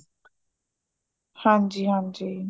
ਹਾਂਜੀ ਹਾਂਜੀ